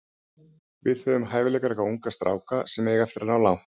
Við höfum hæfileikaríka unga stráka sem eiga eftir að ná langt.